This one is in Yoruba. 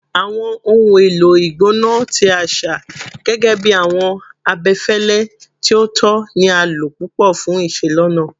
Awọn ohun elo igbona ti aṣa, gẹgẹbi awọn abẹfẹlẹ ti o tọ, ni a lo pupọ fun iselona